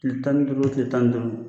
Tile tan duuru, tile tan duuru